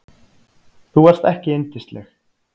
Þú varst ekki yndisleg.